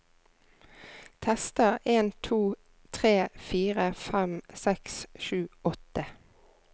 Tester en to tre fire fem seks sju åtte